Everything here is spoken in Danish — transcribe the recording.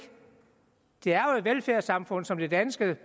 det er jo et velfærdssamfund som det danske